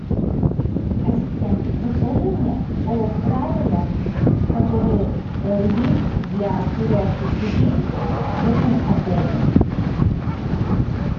ассистент расскажи мне о правилах которые есть для курящих людей в этом отеле